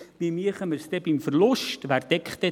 Wie würden wir es denn bei einem Verlust machen?